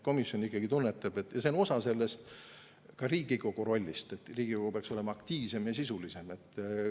Komisjon ikkagi tunnetab, et see on osa ka sellest Riigikogu rollist, et Riigikogu peaks olema aktiivsem ja sisulisem.